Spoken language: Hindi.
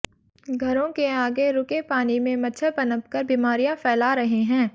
घरों के आगे रूके पानी में मच्छर पनप कर बीमारियां फैला रहे हैं